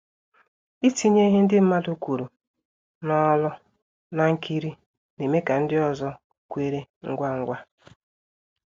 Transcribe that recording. Ịtinye ihe ndị mmadụ kwuru n'olu na nkiri na-eme ka ndị ọzọ kweere ngwa ngwa